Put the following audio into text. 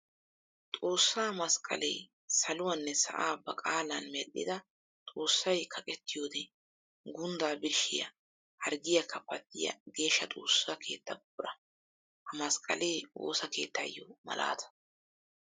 Xoosa masqqale saluwanne sa'aa ba qaalan medhdhidda xoosay kaqqettiddo gundda birshshiya harggiyakka pattiya geeshshsa xoosa keetta buqura. Ha masqqale woosa keettayo malaatta.